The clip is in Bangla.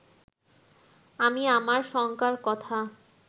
আমি আমার শঙ্কার কথা